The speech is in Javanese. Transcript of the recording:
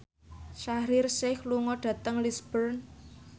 Shaheer Sheikh lunga dhateng Lisburn